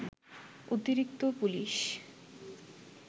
অতিরিক্ত পুলিশ